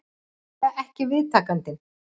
Hann var augljóslega ekki viðtakandinn